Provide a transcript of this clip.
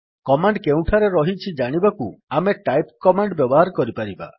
command କେଉଁଠାରେ ରହିଛି ଜାଣିବାକୁ ଆମେ ଟାଇପ୍ କମାଣ୍ଡ୍ ବ୍ୟବହାର କରିପାରିବା